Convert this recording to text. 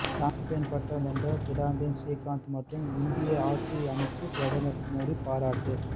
champion பட்டம் வென்ற கிடாம்பி ஸ்ரீகாந்த் மற்றும் இந்திய ஹாக்கி அணிக்கு பிரதமர் மோடி பாராட்டு